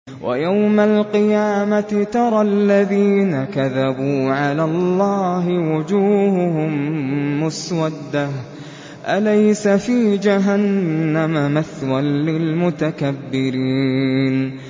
وَيَوْمَ الْقِيَامَةِ تَرَى الَّذِينَ كَذَبُوا عَلَى اللَّهِ وُجُوهُهُم مُّسْوَدَّةٌ ۚ أَلَيْسَ فِي جَهَنَّمَ مَثْوًى لِّلْمُتَكَبِّرِينَ